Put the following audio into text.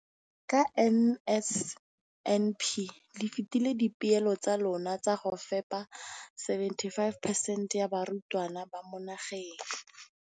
Ka NSNP le fetile dipeelo tsa lona tsa go fepa masome a supa le botlhano a diperesente ya barutwana ba mo nageng.